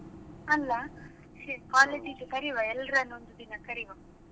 ಅಲ್ಲ college ಇದ್ದು ಕರಿವ ಎಲ್ಲರನ್ನು ಒಂದು ದಿನ ಕರಿವ.